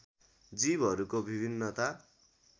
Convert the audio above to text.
जीवहरूको विभिन्नता